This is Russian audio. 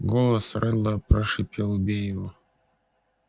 голос реддла прошипел убей его